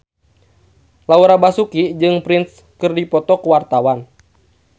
Laura Basuki jeung Prince keur dipoto ku wartawan